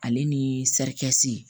Ale ni sarikasi